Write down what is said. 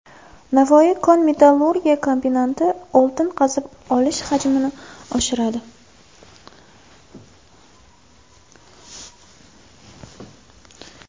Navoi kon-metallurgiya kombinati oltin qazib olish hajmini oshiradi.